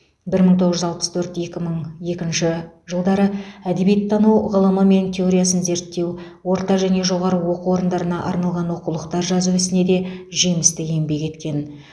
бір мың тоғыз жүз алпыс төрт екі мың екінші жылдары әдебиеттану ғылымы мен теориясын зерттеу орта және жоғары оқу орындарына арналған оқулықтар жазу ісінде де жемісті еңбек еткен